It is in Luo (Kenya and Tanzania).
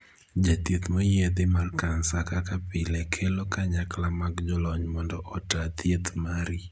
Jathieth moyiedhi mar kansa kaka pile kelo kanyakla mag jolony mondo otaa thieth mari.